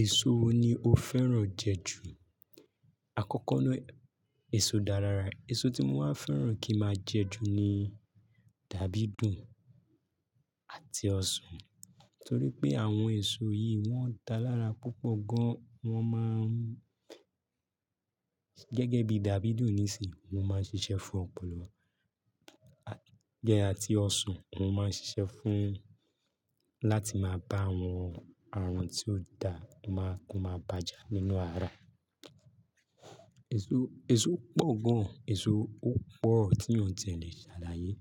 Èso wo ni o fẹ́ràn jẹ ju? Àkọ́kọ́ náà èso dá lára. Èso tí mo máa fẹ́ràn kí máa jẹ ju ni dàbídùn àti ọsàn. Nítorí pé àwọn èso yìí wọ́n dá lára púpọ̀ gan. Wọ́n máa ń gẹ́gẹ́ bí dàbídùn nísìnyí, wọn máa ń ṣiṣẹ́ fún ọpọlọ. Gẹ́ àti ọsàn, wọn máa ń ṣiṣẹ́ fún láti máa bá àwọn aràn tí ó da máa, ko máa bájà nínú ara. Èso, èso pọ̀ gan. Èso ó pọ̀ tí ènìyàn ò tiẹ̀ lé ṣàlàyé.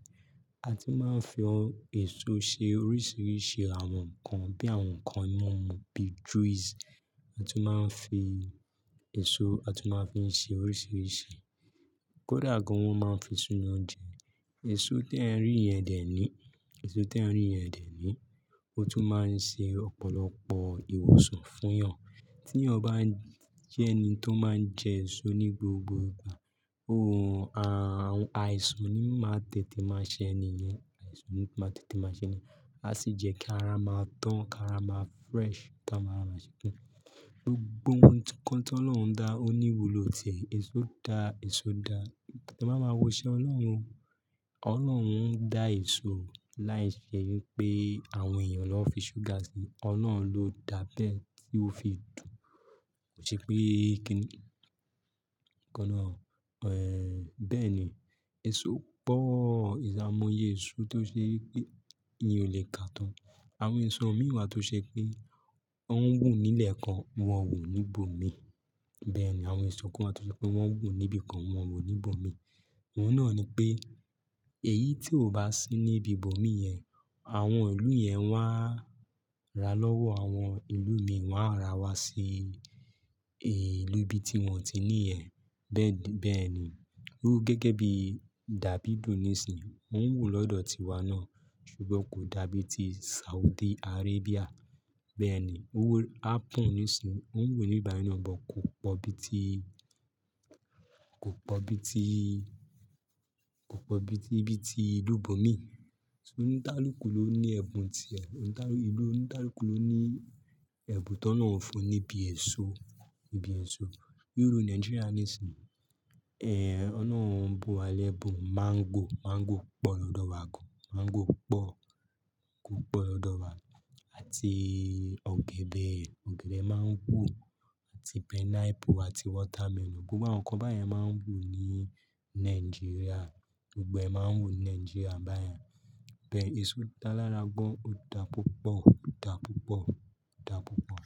A ti máa ń fi èso ṣe oríṣiríṣi àwọn nǹkan bí àwọn nǹkan mímu bí juice. A ti máa ń fi èso, a ti máa ń fi ṣe oríṣiríṣi. Kódà gan wọn máa ń fi sínu oúnjẹ. Èso tẹ ń rí yẹn dè ní, èso tẹ ń rí yẹn dè ní ó tún máa ń ṣe ọ̀pọ̀lọpọ̀ ìwòsàn fún Yàn. Tí yàn bá jẹ́ ẹni tó máa ń jẹ èso ní gbogbo ìgbà, òun, à-àisàn ni máa tètè máa ṣe ẹ́niyẹn. Àisàn ni máa tètè máa ṣe ẹ́niyen. A sì jẹ́ kí ara máa dán ká ara máa fresh táa máa ra ṣẹ́kù. Gbogbo ohun kan t'ọlọrun dá ó ní ìwúlò tiẹ̀. Èso dá, èso dá. Tí a bá máa wo iṣẹ́ Ọlọ́run, Ọlọ́run ń dá èso láì ṣe wípé àwọn èèyàn ló fi ṣúgà sí i. Ọlọ́run ló dá bẹ́ẹ̀ tí ó fi dùn. Ko i se pe kini Ẹ̀ bẹ́ẹ̀ ni, èso pọ̀. Aimoye èso tí ó ṣe wípé eyan ò lè ká tán. Àwọn èso mìí wa tó ṣe pé wọ́n ń wù nílẹ̀ kan wọ́n wù ní ibòmíì. Bẹ́ẹ̀ ni àwọn èso kan tó ṣe pé wọ́n ń wù níbi kan wọ́n wù ní ibòmíì. Oun naa ni pe eyi ti o ba si ni ibi bo mii yen, awon ilu yen won a ra wa lowo awon ilu mii, won a ra wa si ilu ibi ti won o ti ni yen. Bẹ́ẹ̀ di, bẹ́ẹ̀ ni. Ó gẹ́gẹ́ bí dàbídùn nísìnyí, kó ń wù lọ́dọ̀ tiwa náà. Sugbọn kò dàbí ti Saudi Arabia. Bẹ́ẹ̀ ni ó happen nísìnyí, ó ń wù níbi bayi na but kò pọ̀ bíi tí, kò pọ̀ bíi tí, kò pọ̀ bíi tí ibi tí ìlú bòmíì. Onikaluku lo ni ebun tire, ilu olukaluku lo ni ebun ti olohun fun nibi eso ni iru Nigeria nísìnyí, ẹ̀, ọ̀lorun ń bu wa lẹ́bun máńgò. Máńgò pọ̀ lọ́dọ̀ wa gan. Máńgò pọ̀, o pọ̀ lọ́dọ̀ wa àti ọ̀gẹ̀dẹ̀. Ọ̀gẹ̀dẹ̀ máa ń wù àti pineapple àti watermelon. Gbogbo àwọn nǹkan báyẹn máa ń wù ní Nigeria. Gbogbo ẹ máa ń wù ní Nigeria báyẹn. Bẹ́ẹ̀ ni èso dára gan, ó dá púpọ̀, ó dá púpọ̀, ó dá púpọ̀.